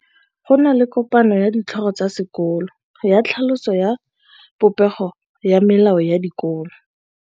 Go na le kopanô ya ditlhogo tsa dikolo ya tlhaloso ya popêgô ya melao ya dikolo.